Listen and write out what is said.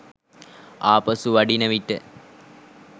ආපසු වඩින විට